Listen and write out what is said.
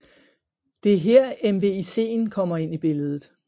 Det er her MVICen kommer ind i billedet